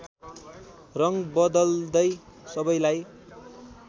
रङ बदल्दै सबैलाई